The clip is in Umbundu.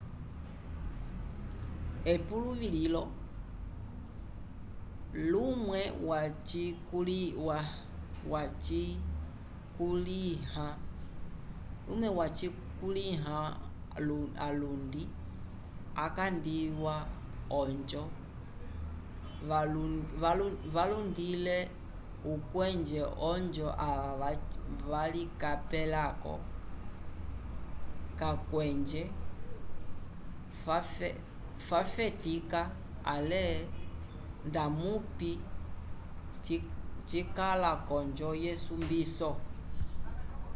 epuluvi lilo lumwe wacikulya alundi acalingiwa ojo valundile ukweje ojo ava valicapelaco cacwenje fafetica ale ndamupi cicala conjo yesumbiso